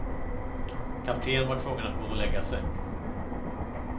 Kaptenen var tvungen att gå och lägga sig.